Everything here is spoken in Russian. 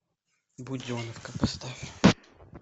буденовка поставь